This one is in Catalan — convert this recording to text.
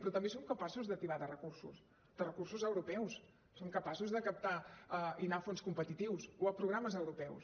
però també som capaços de tibar de recursos de recursos europeus som capaços de captar i anar a fons competitius o a programes europeus